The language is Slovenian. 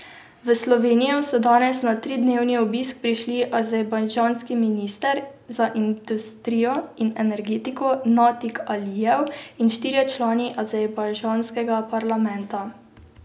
V Slovenijo so danes na tridnevni obisk prišli azerbajdžanski minister za industrijo in energetiko Natik Alijev in štirje člani azerbajdžanskega parlamenta.